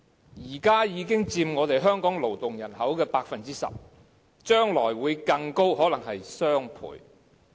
現時外傭已經佔香港勞動人口 10%， 將來會更多，可能是雙倍。